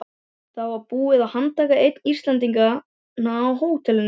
Það var búið að handtaka einn Íslendinganna á hótelinu.